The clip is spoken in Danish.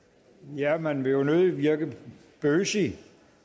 ja man vil jo nødig virke bøs